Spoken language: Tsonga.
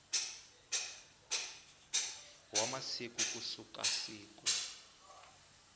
wa masiku ku suka siku